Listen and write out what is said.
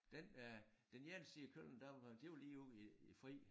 Den øh den ene side af Køln der var det var lige ude i det fri